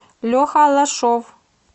леха аллашов